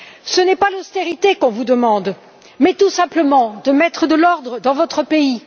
Ce n'est pas l'austérité qu'on vous demande, mais tout simplement de mettre de l'ordre dans votre pays.